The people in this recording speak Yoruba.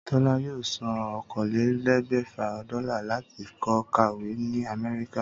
Tólá yóò san okòólélé̩gbè̩fà dó́là láti lo̩ kàwé ní Àmé̩ríkà